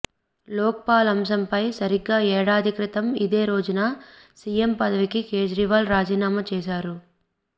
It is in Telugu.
లోక్ పాల్ అంశంపై సరిగ్గా ఏడాది క్రితం ఇదే రోజున సీఎం పదవికి కేజ్రీవాల్ రాజీనామా చేశారు